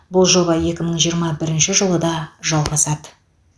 бұл жоба екі мың жиырма бірінші жылы да жалғасады